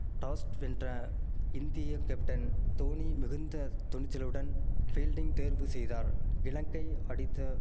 tossed வென்ற இந்திய captain Dhoni மிகுந்த துணிச்சலுடன் ஃபீல்டிங் தேர்வுசெய்தார் இலங்கை அடித்த